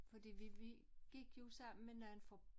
Fordi vi vi gik jo sammen med nogen fra